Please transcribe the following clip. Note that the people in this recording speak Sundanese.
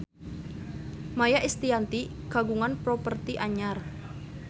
Maia Estianty kagungan properti anyar